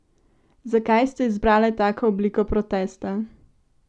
Zakaj ste izbrale tako obliko protesta?